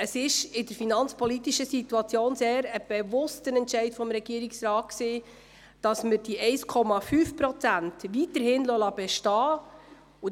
Es ist in der aktuellen finanzpolitischen Situation ein sehr bewusster Entscheid des Regierungsrates, die 1,5 Prozent weiter bestehen zu lassen.